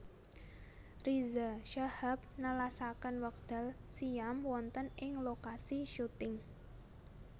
Riza Shahab nelasaken wekdal siyam wonten ing lokasi syuting